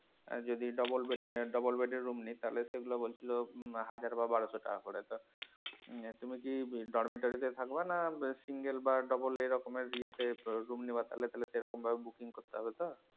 আর যদি double bed নেয় double bed এর room নেই তাহলে সেগুলা বলছিলো হাজার বা বারশো টাকা করে আহ তুমি কি ডরমেটরি থাকবে না single বা double এরকমের ইয়ে তে room নেওয়ার তাহলে, তাহলে সেরকম ভাবে booking করতে হবে তো।